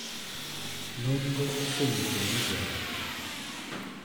Nonro osenyiso ni joot .